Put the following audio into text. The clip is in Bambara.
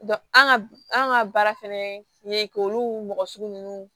an ka an ka baara fana ye k'olu mɔgɔ sugu ninnu